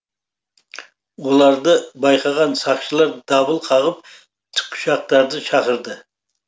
оларды байқаған сақшылар дабыл қағып тікұшақтарды шақырды